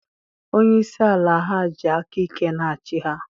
Onye isi ala ha ji aka ike na-achị ha.